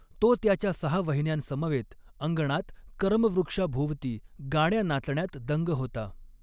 तो त्याच्या सहा वहिन्यांसमवेत अंगणात करमवृक्षाभोवती गाण्या नाचण्यात दंग होता.